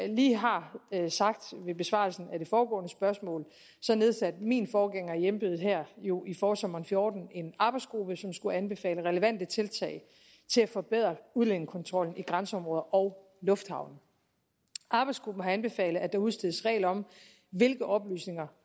lige har sagt ved besvarelsen af det foregående spørgsmål nedsatte min forgænger i embedet jo i forsommeren fjorten en arbejdsgruppe som skulle anbefale relevante tiltag til at forbedre udlændingekontrollen i grænseområder og lufthavne arbejdsgruppen har anbefalet at der udstedes regler om hvilke oplysninger